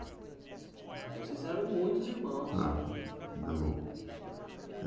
Então vocês eram em muitos irmãos.